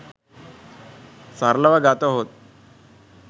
සරලව ගතහොත්